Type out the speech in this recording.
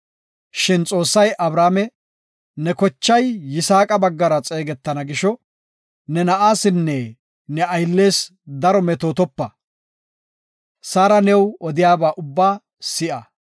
Shin Xoossay Abrahaame, “Ne kochay Yisaaqa baggara xeegetana gisho ne na7aasinne ne ayllees daro metootopa; Saara new odiyaba ubba si7a.